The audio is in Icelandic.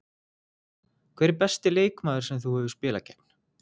Hver er besti leikmaður sem þú hefur spilað gegn?